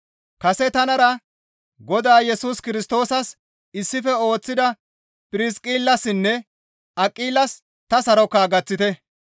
Kase tanara Godaa Yesus Kirstoosas issife ooththida Phirsiqillassinne Aqilas ta saroka gaththite.